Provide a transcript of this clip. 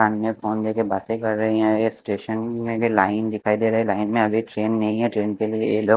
सामने की बातें कर रही है ये स्टेशन में भी लाइन दिखाई दे रही है लाइन में अभी ट्रेन नहीं है ट्रेन के लिए --